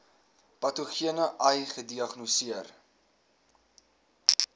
patogene ai gediagnoseer